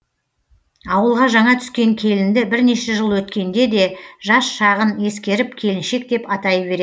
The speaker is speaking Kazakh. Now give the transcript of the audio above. ауылға жаңа түскен келінді бірнеше жыл өткенде де жас шағын ескеріп келіншек деп атай беред